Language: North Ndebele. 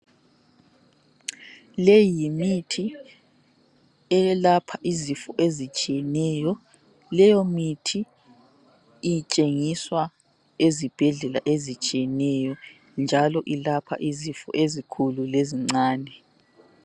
Leyi mithi eyelapha izifo ezitshiyeneyo. Leyo mithi ithengiswa ezibhedlela ezitshiyeneyo njalo ilapha izifo ezikhulu lezincane.